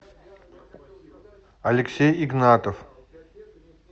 алексей игнатов